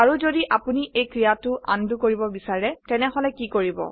আৰু যদি আপোনি এই ক্ৰিয়াটো আনডো কৰিব বিছাৰো তেনেহলে কি কৰিব160